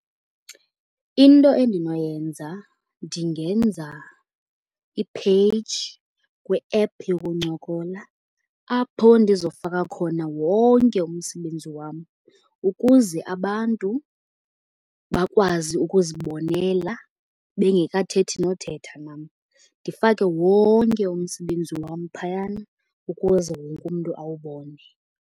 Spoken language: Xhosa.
Into endinoyenza ndingenza i-page kwi-app yokuncokola apho ndizofaka khona wonke umsebenzi wam ukuze abantu bakwazi ukuzibonela bengekathethi nothetha nam. Ndifake wonke umsebenzi wam phayana ukuze wonke umntu awubone.